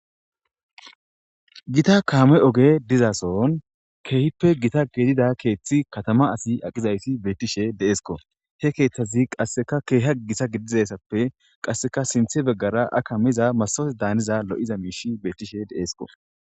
Gitta kame ogey diza kethi katama asi diza betishe de'esiko he kethazi qasika kehidi gitta gidayis qasika sinitha bagara heya kamiza masitote danida mishi betishe de'esko